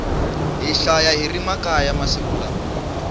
hi xava hiri makaya masiku lawa